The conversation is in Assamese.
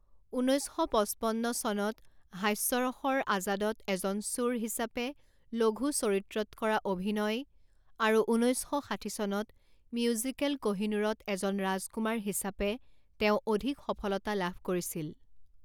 ঊনৈছ শ পঁচপন্ন চনত হাস্যৰসৰ আজাদত এজন চোৰ হিচাপে লঘু চৰিত্ৰত কৰা অভিনয়, আৰু ঊনৈছ শ ষাঠি চনত মিউজিকেল কহিনূৰত এজন ৰাজকুমাৰ হিচাপে তেওঁ অধিক সফলতা লাভ কৰিছিল।